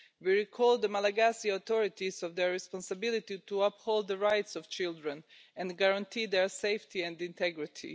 We remind the Malagasy authorities of their responsibility to uphold the rights of children and guarantee their safety and integrity.